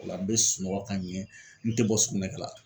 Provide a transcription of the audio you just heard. O la n bɛ sunɔgɔ ka ɲɛ n tɛ bɔ sugunɛkɛ la.